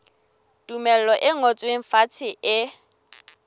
tumello e ngotsweng fatshe e